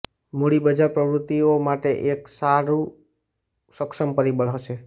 મૂડી બજાર પ્રવૃત્તિઓ માટે એક સારૂ સક્ષમ પરિબળ હશે